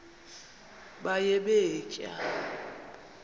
baye bee tyaa